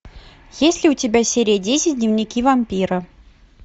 есть ли у тебя серия десять дневники вампира